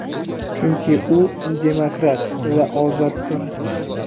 chunki u demokrat va ozoddir.